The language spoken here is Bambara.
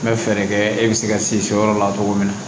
N bɛ fɛɛrɛ kɛ e bɛ se ka se so yɔrɔ la cogo min na